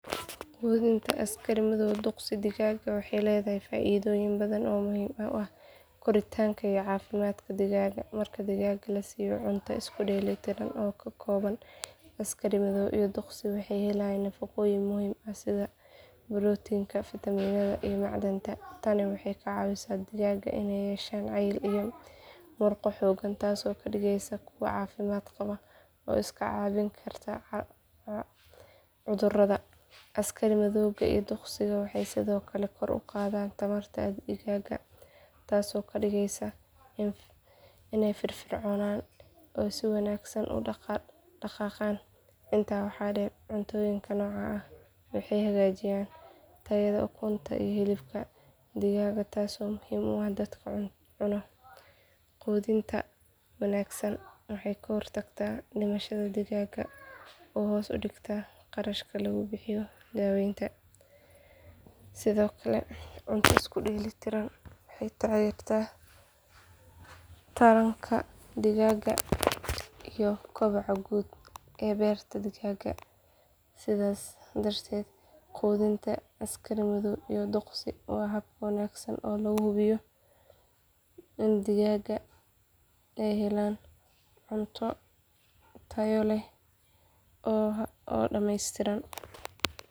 Quudinta askari madow duqsi digaaga waxay leedahay faa’iidooyin badan oo muhiim u ah koritaanka iyo caafimaadka digaaga. Marka digaaga la siiyo cunto isku dheelitiran oo ka kooban askari madow iyo duqsi waxay helaan nafaqooyin muhiim ah sida borotiinka, fiitamiinada iyo macdanta. Tani waxay ka caawisaa digaaga inay yeeshaan cayil iyo murqo xooggan taasoo ka dhigaysa kuwo caafimaad qaba oo iska caabin kara cudurrada. Askari madowga iyo duqsiga waxay sidoo kale kor u qaadaan tamarta digaaga, taasoo ka dhigaysa inay firfircoonaan oo si wanaagsan u dhaqdhaqaaqaan. Intaa waxaa dheer, cuntooyinka noocan ah waxay hagaajiyaan tayada ukunta iyo hilibka digaaga taasoo muhiim u ah dadka cuno. Quudinta wanaagsan waxay ka hortagtaa dhimashada digaaga oo hoos u dhigtaa kharashka lagu bixiyo daaweynta. Sidoo kale cunto isku dheelitiran waxay taageertaa taranka digaaga iyo kobaca guud ee beerta digaaga. Sidaas darteed quudinta askari madow iyo duqsi waa hab wanaagsan oo lagu hubiyo in digaaga ay helaan cunto tayo leh oo dhameystiran.